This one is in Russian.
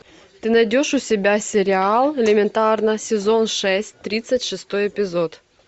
ты найдешь у себя сериал элементарно сезон шесть тридцать шестой эпизод